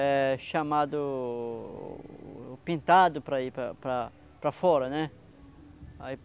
É chamado pintado para ir para para para fora, né? Aí